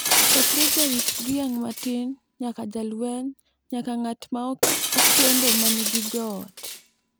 chakre jarit dhiang’ matin nyaka jalweny nyaka ng’at ma okendo manigi joot.